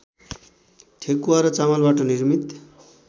ठेकुवा र चामलबाट निर्मित